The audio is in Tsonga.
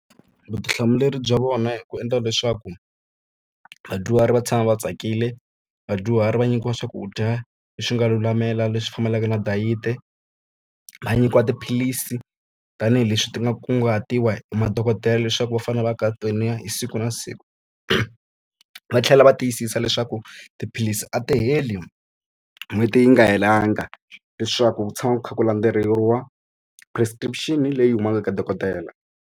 Vutihlamuleri bya vona i ku endla leswaku vadyuhari va tshama va tsakile vadyuhari va nyikiwa swakudya leswi nga lulamela leswi fambelaka na dayiti. Va nyikiwa tiphilisi tanihileswi ti nga kunguhatiwa hi madokodela leswaku va fanele va hi siku na siku, va tlhela va tiyisisa leswaku tiphilisi a ti heli n'hweti yi nga helanga. Leswaku ku tshama ku kha ku landzeriwa prescription-i leyi humaka ka dokodela.